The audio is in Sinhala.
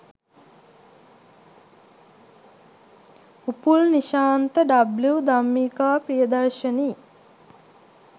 උපුල් නිශාන්ත, ඩබ්ලිව් ධම්මිකා ප්‍රියදර්ශනී